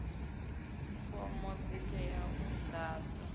fomo dzi teaho u ḓadzwa